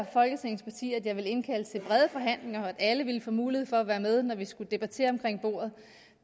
folketingets partier at jeg ville indkalde til brede forhandlinger og at alle ville få mulighed for at være med når vi skulle debattere omkring bordet